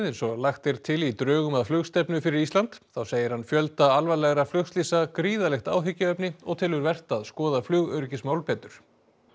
eins og lagt er til í drögum að flugstefnu fyrir Ísland þá segir hann fjölda alvarlegra flugslysa gríðarlegt áhyggjuefni og telur vert að skoða flugöryggismál betur